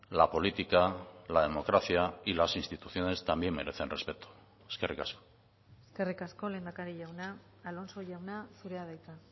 la política la democracia y las instituciones también merecen respeto eskerrik asko eskerrik asko lehendakari jauna alonso jauna zurea da hitza